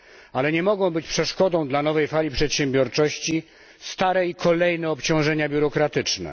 Ale nie mogą być przeszkodą dla nowej fali przedsiębiorczości stare i kolejne obciążenia biurokratyczne.